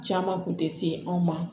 Caman kun tɛ se anw ma